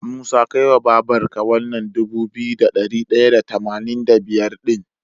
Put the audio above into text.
Musa kai wa babar ka wannan Dubu biyu da dari daya da tamanin da biyar din